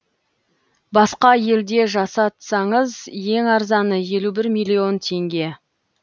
басқа елде жасатсаңыз ең арзаны елу бір миллион теңге